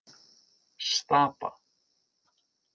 Stapa